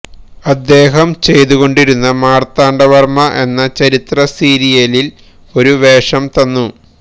അദ്ദേഹം ചെയ്തുകൊണ്ടിരുന്ന മാർത്താണ്ഡവർമ്മ എന്ന ചരിത്രസീരിയലിൽ ഒരു വേഷം തന്നു